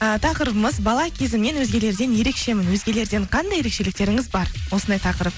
ы тақырыбымыз бала кезіңнен өзгелерден ерекшемін өзгелерден қандай ерекшеліктеріңіз бар осындай тақырып